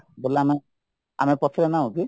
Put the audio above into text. ଆମେ ଆମେ ପଛରେ ନାହୁଁକି